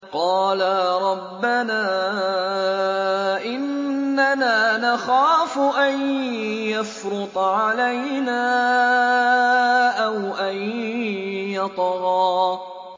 قَالَا رَبَّنَا إِنَّنَا نَخَافُ أَن يَفْرُطَ عَلَيْنَا أَوْ أَن يَطْغَىٰ